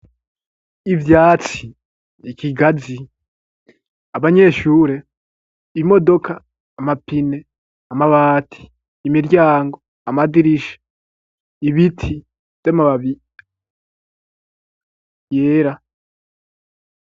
Ivyatsi ikigazi abanyeshure imodoka amapine amabati imiryango amadirisha ibiti vy'amababi yera.